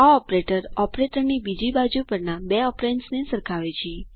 આ ઓપરેટર ઓપરેટરની બીજી બાજુ પરના બે ઓપેરેન્દ્સ સરખાવે છે